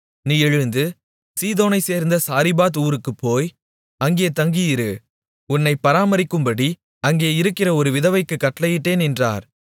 நீ எழுந்து சீதோனைச்சேர்ந்த சாரிபாத் ஊருக்குப்போய் அங்கே தங்கியிரு உன்னைப் பராமரிக்கும்படி அங்கே இருக்கிற ஒரு விதவைக்குக் கட்டளையிட்டேன் என்றார்